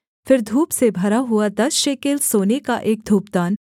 फिर धूप से भरा हुआ दस शेकेल सोने का एक धूपदान